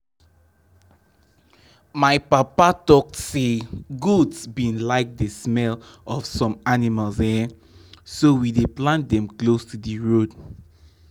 my papa talk say goats bin like the smell of some plants um so we dey plant them close to d road.